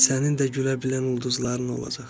Sənin də gülə bilən ulduzların olacaq.